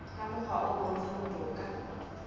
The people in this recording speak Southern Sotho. ka mokgwa o bontshang toka